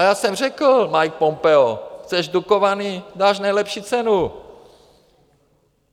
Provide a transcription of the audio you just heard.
A já jsem řekl Mikeu Pompeovi: Chceš Dukovany, dáš nejlepší cenu.